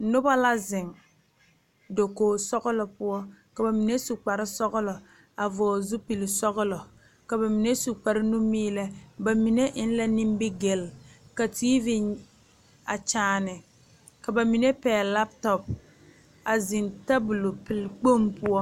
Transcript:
Noba la zeŋ dakogi sɔglɔ poɔ ka bamine su kpare sɔglɔ a vɔgle zupele sɔglɔ ka bamine su kpare nu milɛ bamine e la nimigel ka TV a kyaane ka bamine pegle lab top a zeŋ tabol pel kpoŋ poɔ.